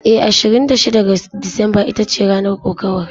Eh, Ashirin da shida ga Disamba ita ce ranar kokawar.